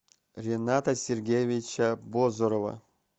рената сергеевича бозорова